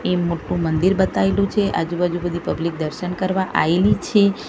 એ મોટ્ટુ મંદિર બતાઇલુ છે આજુ બાજુ બધી પબ્લિક દર્શન કરવા આયેલી છે.